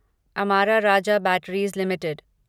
Amara Raja batteries limited